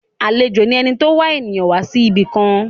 Àlejò ni ẹni tó wá èèyàn wá ibìkan.